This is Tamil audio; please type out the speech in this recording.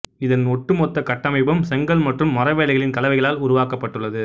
இதன் ஒட்டுமொத்த கட்டமைப்பும் செங்கல் மற்றும் மரவேலைகளின் கலவைகளால் உருவாக்கப்பட்டுள்ளது